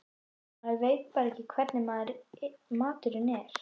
Maður veit bara ekki hvernig maturinn er.